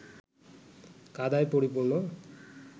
কাদায় পরিপূর্ণ